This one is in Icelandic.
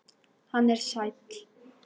Hann er sæll.